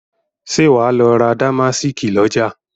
Ṣé wà á lọ ra dàmásíìkì lọ́jà?